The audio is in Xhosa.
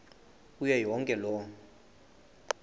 kuyo yonke loo